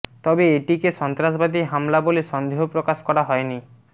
তবে এটিকে সন্ত্রাসবাদী হামলা বলে সন্দেহ প্রকাশ করা হয়নি